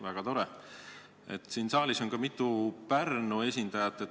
Väga tore, et siin saalis on ka mitu Pärnu esindajat.